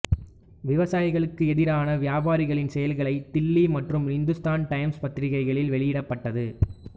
விவசாயிகளுக்கு எதிரான வியாபாரிகளின் செயல்களை தில்லி மற்றும் இந்துஸ்தான் டைம்ஸ் பத்திரிகைகளில் வெளியிடப்பட்டது